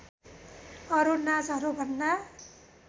अरू नाचहरूभन्दा